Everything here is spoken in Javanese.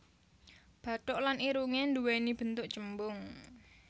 Bathuk lan irungé nduwéni bentuk cembung